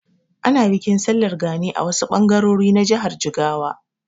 Ana bikin Sallar gani a wasu ɓangarori na jihar Jigawa.